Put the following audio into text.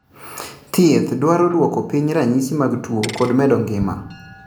Thiedh dwaro duoko piny ranyisi mag tuo kod medo ngima